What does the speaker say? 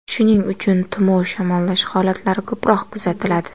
Shuning uchun tumov, shamollash holatlari ko‘proq kuzatiladi.